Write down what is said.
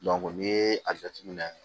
n'i ye a jateminɛ